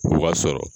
O b'a sɔrɔ